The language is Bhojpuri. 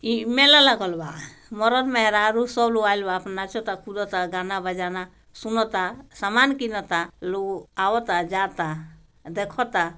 ई मेला लगल बा बोहोत मर्द - मेहरारू से गाना बजाना होता सुनता सामान किन ता लोग आवता जावता देखता।